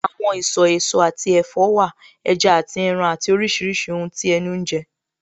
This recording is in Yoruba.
Àwọn ìsọ̀ èso àti ẹ̀fọ́ wà, ẹja àti ẹran àti oríṣiríṣi ohun tí ẹnu ń jẹ